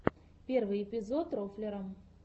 первый эпизод рофлера